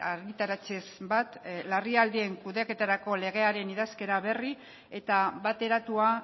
argitaratzez bat larrialdien kudeaketarako legearen idazkera berri eta bateratua